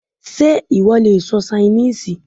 Sé ìwọ le sọ Ṣainíìsì?